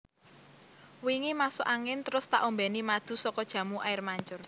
Wingi masuk angin trus tak ombeni madu soko Jamu Air Mancur